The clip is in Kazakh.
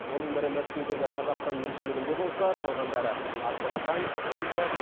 оның бірі мәскеудегі қазақстан елшілігінде болса қалғандары астрахань омбы